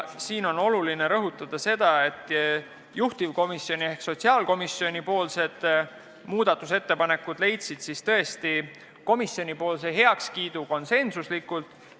Oluline on rõhutada, et juhtivkomisjoni ehk sotsiaalkomisjoni muudatusettepanekud leidsid komisjonis heakskiidu konsensuslikult.